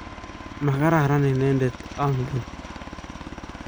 mokararan inendet angen